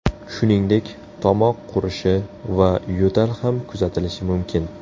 Shuningdek, tomoq qurishi va yo‘tal ham kuzatilishi mumkin.